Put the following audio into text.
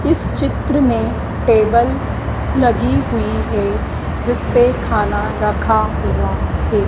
इस चित्र में टेबल लगी हुई है जिसपे खाना रखा हुआ है।